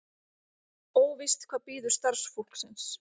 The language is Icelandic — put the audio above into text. Óvíst hvað bíður starfsfólksins